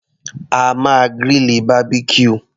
A máa grill Barbecue.